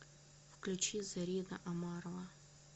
включи зарина омарова